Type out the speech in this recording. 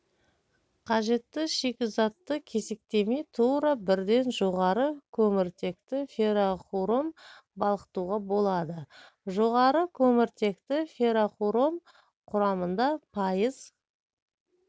қажетті шикізатты кесектемей тура бірден жоғары көміртекті фероқұром балқытуға болады жоғары көміртекті фероқұром құрамында пайыз